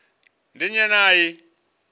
ndi nnyi ane a i